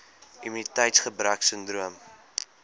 immuniteits gebrek sindroom